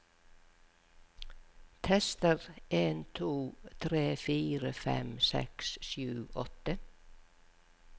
Tester en to tre fire fem seks sju åtte